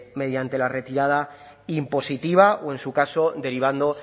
mediante la retirada impositiva o en su caso derivando